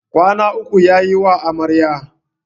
Kwana uku ya yiwa Amaryar.